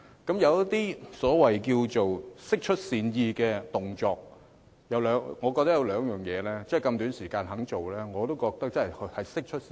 她有一些釋出善意的行動，其中有兩點她在如此短時間內也願意做，我覺得真的是釋出善意。